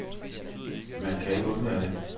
Man kan ikke undvære det.